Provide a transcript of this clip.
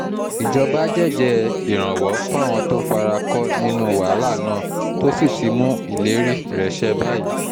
ìjọba jẹ́ẹ́jẹ́ ìrànwọ́ fáwọn tó fara kọ́ nínú wàhálà náà tó sì ti mú ìlérí rẹ̀ ṣẹ báyìí